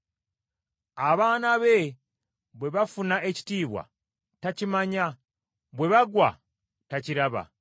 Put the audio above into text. Abaana be bwe bafuna ekitiibwa, takimanya, bwe bagwa, takiraba.